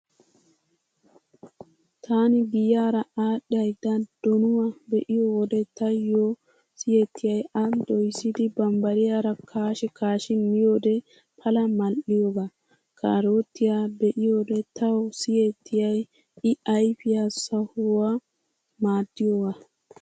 Taani giyaara aadhdhaydda donuwaa be'iyo wode taayyo siyettiyay a doyssidi bambbariyaara kaashi kaashi miyoode Pala mal"iyooggaa. Kaarootiyaa be'iyoode tawu siyettiyay I ayfiyaa sahuwaa maaddiyoogaa.